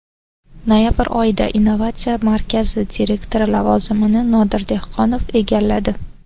Noyabr oyida innovatsiya markazi direktori lavozimini Nodir Dehqonov egalladi.